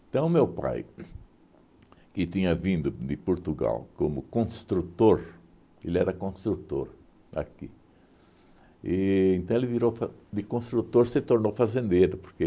Então, o meu pai, que tinha vindo de Portugal como construtor, ele era construtor aqui, e então ele virou fa de construtor se tornou fazendeiro, porque